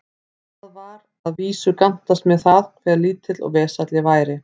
Það var að vísu gantast með það, hve lítill og vesæll ég væri.